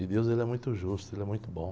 E Deus ele é muito justo, ele é muito bom.